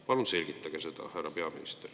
Palun selgitage seda, härra peaminister.